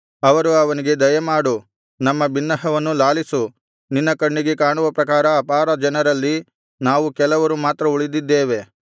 ಅವರು ಅವನಿಗೆ ದಯಮಾಡು ನಮ್ಮ ಬಿನ್ನಹವನ್ನು ಲಾಲಿಸು ನಿನ್ನ ಕಣ್ಣಿಗೆ ಕಾಣುವ ಪ್ರಕಾರ ಅಪಾರ ಜನರಲ್ಲಿ ನಾವು ಕೆಲವರು ಮಾತ್ರ ಉಳಿದಿದ್ದೇವೆ